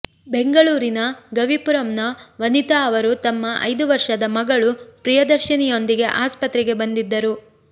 ಬೆಂಗಳೂರಿನ ಗವಿಪುರಂನ ವನಿತಾ ಅವರು ತಮ್ಮ ಐದು ವರ್ಷದ ಮಗಳು ಪ್ರಿಯದರ್ಶಿನಿಯೊಂದಿಗೆ ಆಸ್ಪತ್ರೆಗೆ ಬಂದಿದ್ದರು